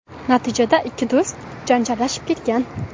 Natijada ikki do‘st janjallashib ketgan.